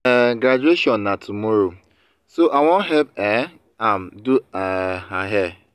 her um graduation na tomorrow so i wan help um am do um her hair